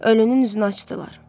Ölünün üzünü açdılar.